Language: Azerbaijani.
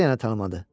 Necə yəni tanımadı?